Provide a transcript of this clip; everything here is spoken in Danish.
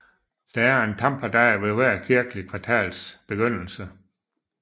Der er en tamperdag ved hver kirkeligt kvartals begyndelse